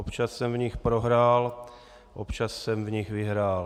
Občas jsem v nich prohrál, občas jsem v nich vyhrál.